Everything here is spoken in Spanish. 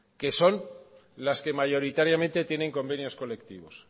que son las que mayoritariamente tienen convenios colectivos